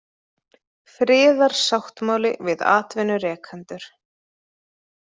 Friðarsáttmáli við atvinnurekendur